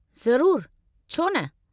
ज़रूरु, छो न।